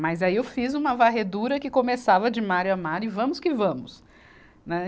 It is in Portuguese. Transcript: Mas aí eu fiz uma varredura que começava de Mário a Mário, e vamos que vamos. Né